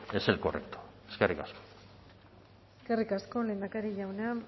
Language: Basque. es el correcto eskerrik asko eskerrik asko lehendakari jauna